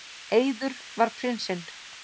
Eiður, var prinsinn.